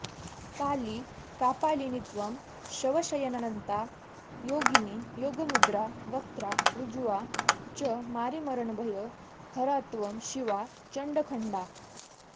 काली कापालिनीत्वं शवशयननता योगिनी योगमुद्रा वक्त्रा ऋज्वा च मारीमरणभय हरात्वं शिवा चण्डघण्टा